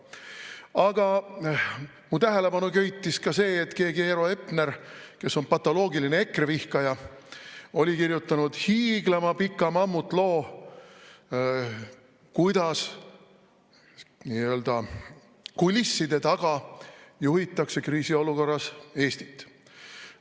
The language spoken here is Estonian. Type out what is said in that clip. Aga mu tähelepanu köitis ka see, et keegi Eero Epner, kes on patoloogiline EKRE vihkaja, oli kirjutanud hiiglama pika mammutloo, kuidas nii-öelda kulisside taga juhitakse kriisiolukorras Eestit.